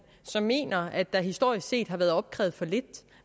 så mener at der historisk set har været opkrævet for lidt